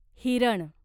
हिरण